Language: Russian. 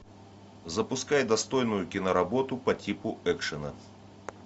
запускай достойную киноработу по типу экшена